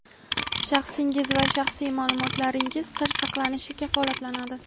Shaxsingiz va shaxsiy ma’lumotlaringiz sir saqlanishi kafolatlanadi.